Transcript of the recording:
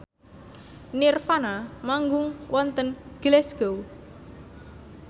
nirvana manggung wonten Glasgow